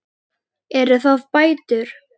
Eru það bætur?